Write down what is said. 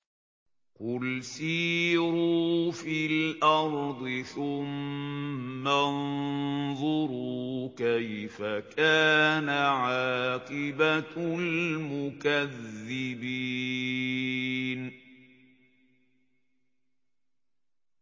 قُلْ سِيرُوا فِي الْأَرْضِ ثُمَّ انظُرُوا كَيْفَ كَانَ عَاقِبَةُ الْمُكَذِّبِينَ